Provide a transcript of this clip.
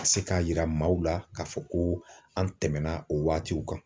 Ka se k'a yira maaw la k'a fɔ ko an tɛmɛna o waatiw kan